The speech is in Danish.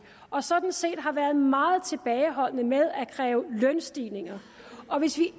og sådan set har været meget tilbageholdende med at kræve lønstigninger og hvis vi